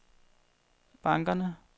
bankerne